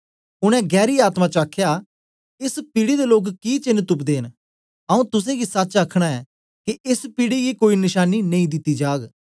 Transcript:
ओनें गैरी आत्मा च आखया एस पीढ़ी दे लोक कि चेन्न तुपदे न आऊँ तुसेंगी सच आखना ऐं के एस पीढ़ी गी कोई नशानीं नेई दिती जाग